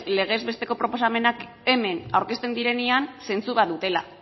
legez besteko proposamenak hemen aurkezten direnean zentzu bat dutela